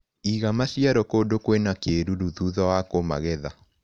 Iga maciaro kũndũ kwina kĩruru thutha wa kũmagetha.